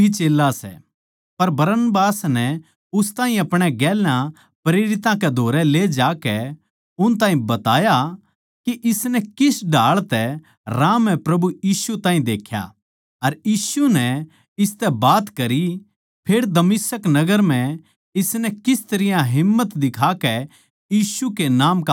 पर बरनबास नै उस ताहीं अपणे गेल्या प्रेरितां कै धोरै ले जाकै उन ताहीं बताया के इसनै किस ढाळ तै राह म्ह प्रभु यीशु ताहीं देख्या अर यीशु नै इसतै बात करी फेर दमिश्क नगर म्ह इसनै किस तरियां ढेठ तै यीशु कै नाम का प्रचार करया